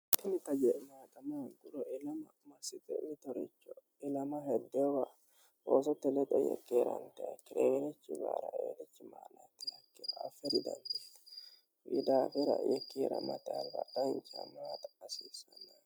hakimita je' maaxama gulo ilama masike utoricho ilama heddeewa roosote lexe yekkiirantae kireyirechi gaara eerechi maalaittilakkina affiridandi widaafira yikkiira maxalra dnmxa asiisanne